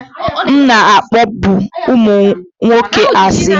M na-akpọbu ụmụ nwoke asị